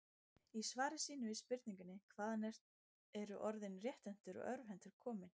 Í svari sínu við spurningunni Hvaðan eru orðin rétthentur og örvhentur komin?